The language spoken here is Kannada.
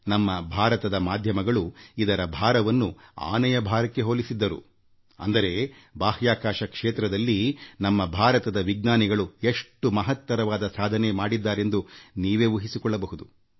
ನಮ್ಮ ಭಾರತದ ಮಾಧ್ಯಮಗಳು ಇದರ ಭಾರವನ್ನು ಆನೆಯ ತೂಕಕ್ಕೆ ಹೋಲಿಸಿದ್ದರು ಅಂದರೆ ಬಾಹ್ಯಾಕಾಶ ಕ್ಷೇತ್ರದಲ್ಲಿ ನಮ್ಮ ಭಾರತದ ವಿಜ್ಞಾನಿಗಳು ಎಷ್ಟು ಮಹತ್ತರವಾದ ಸಾಧನೆ ಮಾಡಿದ್ದಾರೆಂದು ನೀವೇ ಊಹಿಸಿಕೊಳ್ಳಬಹುದು